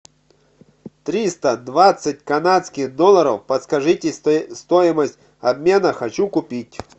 триста двадцать канадских долларов подскажите стоимость обмена хочу купить